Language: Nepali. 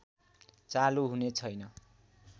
चालु हुने छैन